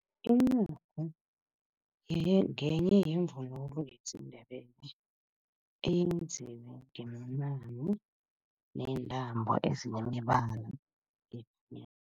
Incagu ngenye yevunulo yesiNdebele, eyenziwe ngemincamo neentambo ezinemibala